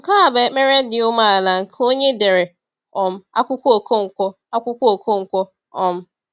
Nke a bụ ekpere dị umeala nke onye dere um akwụkwọ Okonkwo. akwụkwọ Okonkwo. um